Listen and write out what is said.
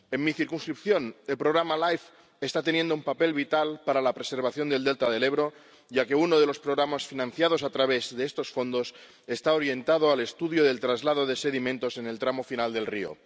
En mi circunscripción, el programa LIFE está teniendo un papel vital para la preservación del delta del Ebro, ya que uno de los programas financiados a través de estos fondos está orientado al estudio del traslado de sedimentos en el tramo final del río.